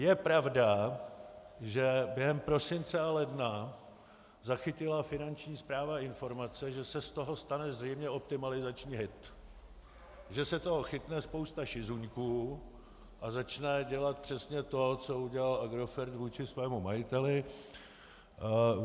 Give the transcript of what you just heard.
Je pravda, že během prosince a ledna zachytila Finanční správa informace, že se z toho stane zřejmě optimalizační hit, že se toho chytne spousta šizuňků a začne dělat přesně to, co udělal Agrofert vůči svému majiteli.